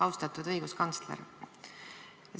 Austatud õiguskantsler!